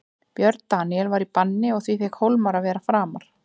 Björn Daníel var í banni og því fékk Hólmar að vera framar.